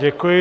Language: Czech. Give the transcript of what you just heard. Děkuji.